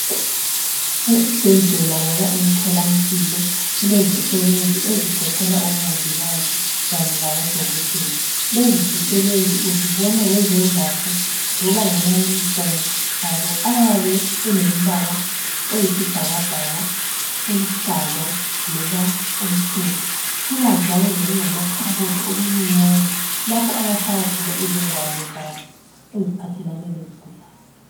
Esibhedlela loba emtholampilo kulezisebenzi ezigoqela omongikazi kanye labodokotela. Lezi zisebenzi uzibona ngezembatho loba ngamayunifomu abo ayabe elembala oyisibhakabhaka oluhlaza loba omhlophe. Kuba njalo lokungamakhabothi okuncinyane lapho abafaka khona izingwalo zabo eziphathelane lezigulane.